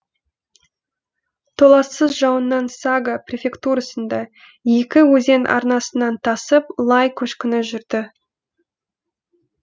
толассыз жауыннан сага префектурасында екі өзен арнасынан тасып лай көшкіні жүрді